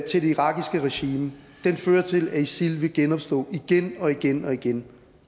til det irakiske regime fører til at isil vil genopstå igen og igen og igen